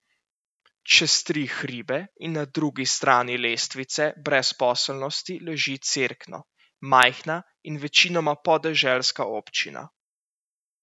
Čez tri hribe in na drugi strani lestvice brezposelnosti leži Cerkno, majhna in večinoma podeželska občina.